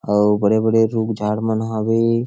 अऊ बड़े-बड़े रुख झाड़ मन हवे।